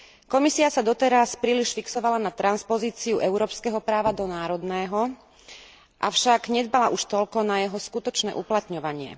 Komisia sa doteraz príliš fixovala na transpozíciu európskeho práva do národného, avšak nedbala už toľko na jeho skutočné uplatňovanie.